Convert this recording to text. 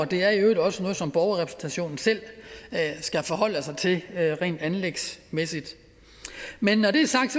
det er i øvrigt også noget som borgerrepræsentationen selv skal forholde sig til rent anlægsmæssigt men når det er sagt